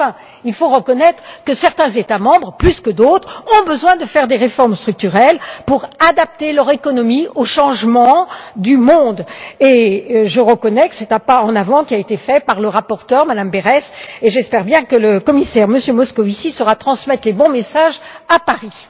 Enfin, il faut reconnaître que certains États membres, plus que d'autres, ont besoin de faire des réformes structurelles pour adapter leur économie à l'évolution du monde, et je reconnais que c'est un pas en avant qui a été fait par la rapporteure Madame Berès et j'espère bien que Monsieur le Commissaire Moscovici saura transmettre les bons messages à Paris.